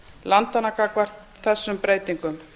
landanna gagnvart þessum breytingum